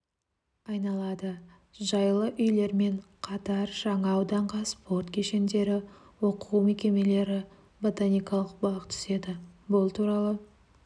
айналады жайлы үйлермен қатар жаңа ауданға спорт кешендері оқу мекемелері ботаникалық бақ түседі бұл туралы